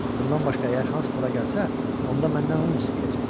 Bundan başqa, əgər Hans bura gəlsə, onda məndən un istəyəcək.